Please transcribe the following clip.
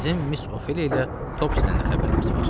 Bizim Miss Ofeliya ilə Topsisdən də xəbərimiz var.